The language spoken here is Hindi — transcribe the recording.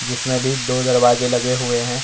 जिसमें अभी दो दरवाजे लगे हुए हैं।